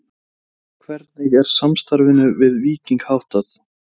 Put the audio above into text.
Hvernig er samstarfinu við Víking háttað?